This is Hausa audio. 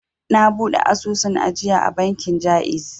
Na buɗe asusun ajiya a bankin ja'iz